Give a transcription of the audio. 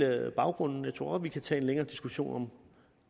er vel baggrunden jeg tror godt vi kan tage en længere diskussion om